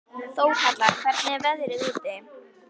Þórhalla, hvernig er veðrið úti?